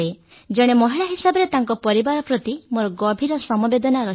ଜଣେ ମହିଳା ହିସାବରେ ତାଙ୍କ ପରିବାର ପ୍ରତି ମୋର ଗଭୀର ସମବେଦନା ରହିଛି